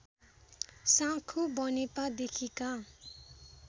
Sankhu Banepa देखिका